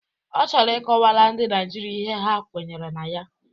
Ọ chọrọ ị kọwara ndị Naịjirịa ihe ha kwenyere na ya